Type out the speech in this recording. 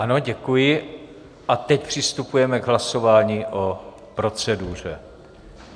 Ano, děkuji, a teď přistupujeme k hlasování o proceduře.